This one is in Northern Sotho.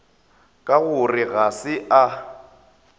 ka gore ga se a